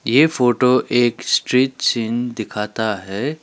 ये फोटो एक street scene दिखाता है।